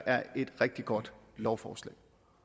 er et rigtig godt lovforslag